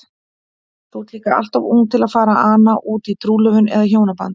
Þú ert líka alltof ung til að fara að ana útí trúlofun eða hjónaband.